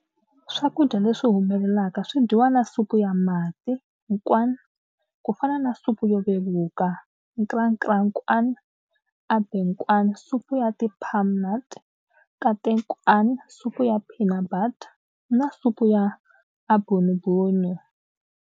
Swakudya leswi humelelaka swi dyiwa na supu ya mati, nkwan, kufana na supu yo vevuka, nkrakra nkwan, abenkwan, supu ya ti palm nut, nkatenkwan, supu ya peanut butter, na supu ya abunubunu.